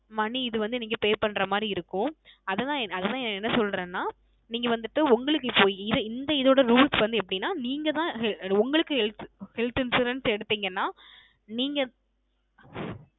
Money இது வந்து நீங்க Pay பண்ற மாதிரி இருக்கும் அதுதான் அதுதான் என்ன சொல்றேன நீங்க வந்துட்டு உங்களுக்கு போய் இத இந்த இது ஓட Rules வந்து அப்படின நீங்க தான் உங்களுக்கு HealthHealth insurance எடுத்திங்கன நீங்க